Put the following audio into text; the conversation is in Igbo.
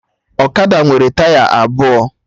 Ọkada nwere taya abụọ